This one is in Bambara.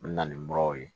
N bɛ na ni muraw ye